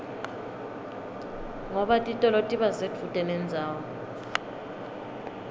ngoba titolo tiba sedvute nendzawo